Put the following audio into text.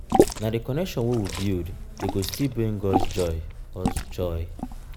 na di connection wey we build dey go still bring us joy. us joy.